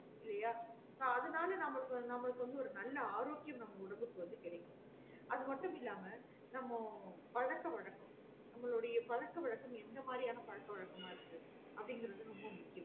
இல்லையா so அதுனால நம்மளுக்கு நம்மளுக்கு ஒரு நல்ல ஆரோக்கியம் வந்து நம்ம உடம்புக்கு வந்து கெடக்குது அது மட்டும் இல்லமா நம்மலுடைய பழக்க வழக்கம் நம்மலுடைய பழக்க வழக்கம் எந்த மாறியான பழக்க வழக்கமா இருக்குறது அப்டின்றது ரொம்போ முக்கியம்